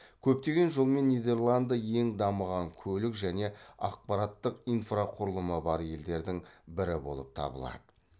көптеген жолмен нидерланды ең дамыған көлік және ақпараттық инфрақұрылымы бар елдердің бірі болып табылады